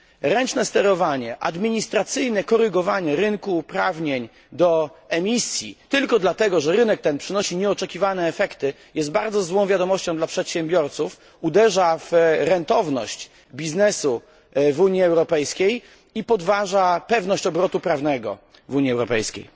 Ręczne sterowanie, administracyjne korygowanie rynku uprawnień do emisji tylko dlatego, że rynek ten przynosi nieoczekiwane efekty jest bardzo złą wiadomością dla przedsiębiorców, uderza w rentowność biznesu w Unii Europejskiej i podważa pewność obrotu prawnego w Unii Europejskiej.